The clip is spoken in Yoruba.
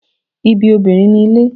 Ibi obinrin ni ile